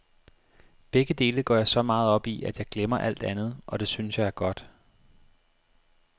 Begge dele går jeg så meget op i, at jeg glemmer alt andet, og det synes jeg er godt.